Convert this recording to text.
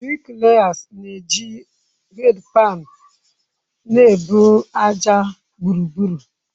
Briklayasi na-eji hedpaani na-ebu ájá gburugburu.